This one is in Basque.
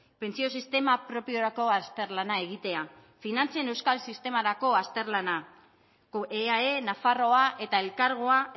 pentsio sistema propiorako azterlana egitea finantzen euskal sistemarako azterlana eae nafarroa eta elkargoa